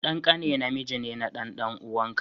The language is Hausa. Dan ƙane namiji ne na dan dan'uwaka.